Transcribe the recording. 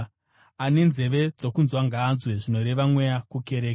Ane nzeve dzokunzwa ngaanzwe, zvinoreva Mweya kukereke.